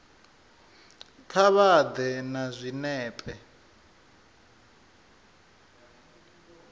kha vha ḓe na zwinepe